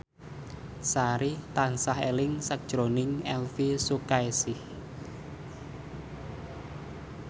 Sari tansah eling sakjroning Elvi Sukaesih